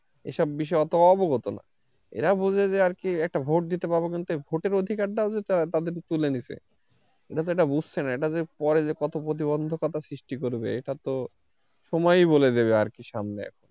এসব বিষয়ে অত অবগত না এরা বোঝে যে আর কিএকটা vote দিতে পাব কিন্তু এই vote এর অধিকার অধিকার যে তাদের তুলে নিছে এটা বুঝছে না এটা যে পরে যে কত প্রতিবন্ধকতা সৃষ্টি করবে এটা তো সময়ই বলে দেবে আর কি সামনে এখন,